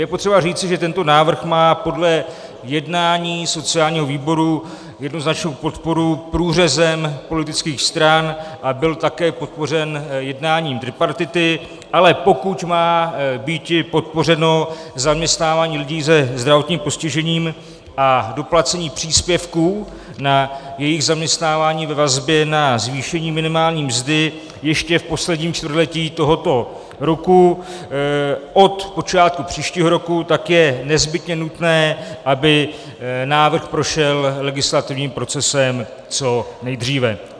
Je potřeba říci, že tento návrh má podle jednání sociálního výboru jednoznačnou podporu průřezem politických stran, a byl také podpořen jednáním tripartity, ale pokud má býti podpořeno zaměstnávání lidí se zdravotním postižením a doplacení příspěvků na jejich zaměstnávání ve vazbě na zvýšení minimální mzdy ještě v posledním čtvrtletí tohoto roku od počátku příštího roku, tak je nezbytně nutné, aby návrh prošel legislativním procesem co nejdříve.